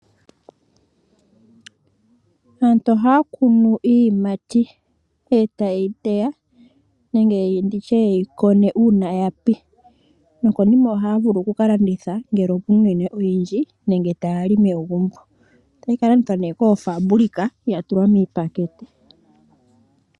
Aantu ohaya kunu iiyimati etayeyi teya nenge ye yi koneko uuna yapi nokonima ohaya vulu oku ka landitha ngele opuna uunene oyindji nenge taya li megumbo otayi ka landithwa ne koofabulika ya tulwa miipakete.